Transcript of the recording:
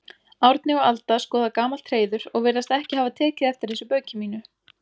Árni og Alda skoða gamalt hreiður og virðast ekki hafa tekið eftir þessu bauki mínu.